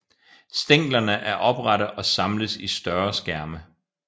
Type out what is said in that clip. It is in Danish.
Stænglerne er oprette og samles i større skærme